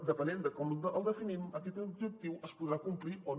depenent de com el definim aquest objectiu es podrà complir o no